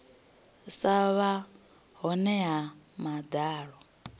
sa vha hone ha madalo